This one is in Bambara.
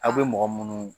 Aw bɛ mɔgɔ minnu